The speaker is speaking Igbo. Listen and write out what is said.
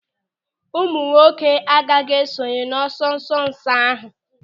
Ụmụnwoke agaghị esonye n'ọsọ nsonso ahụ.